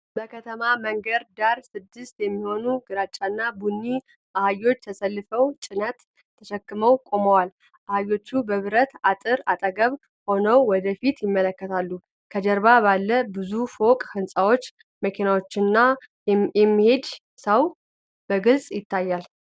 በከተማ መንገድ ዳር ስድስት የሚሆኑ ግራጫና ቡኒ አህዮች ተሰልፈው ጭነት ተሸክመው ቆመዋል። አህዮቹ በብረት አጥር አጠገብ ሆነው ወደ ፊት ይመለከታሉ። ከጀርባ ባለ ብዙ ፎቅ ህንፃዎች፣ መኪናዎችና የሚሄድ ሰው በግልጽ ይታያል።